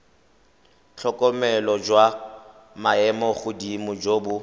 tlhokomelo jwa maemogodimo jo bo